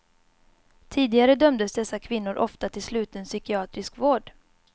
Tidigare dömdes dessa kvinnor ofta till sluten psykiatrisk vård.